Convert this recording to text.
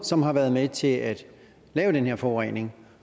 som har været med til at lave den her forurening